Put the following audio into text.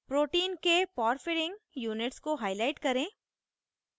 * protein के porphyrin porphyrin units को highlight करें